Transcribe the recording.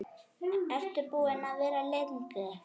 Ertu búin að vera lengi?